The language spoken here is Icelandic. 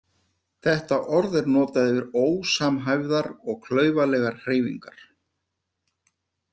Þetta orð er notað yfir ósamhæfðar og klaufalegar hreyfingar.